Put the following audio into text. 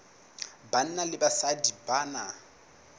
banna le basadi ba na